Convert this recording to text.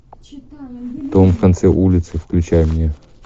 дом в конце улицы включай мне